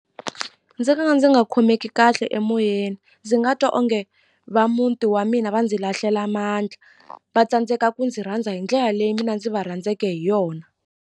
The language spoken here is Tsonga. Ndzi nga ka ndzi nga khomeki kahle emoyeni ndzi nga twa onge va muti wa mina va ndzi lahlela mandla va tsandzeka ku ndzi rhandza hi ndlela leyi mina ndzi va rhandzeke hi yona.